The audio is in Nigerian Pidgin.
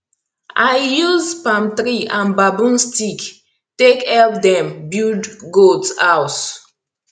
i use palm tree and bambu stick take help dem build goat house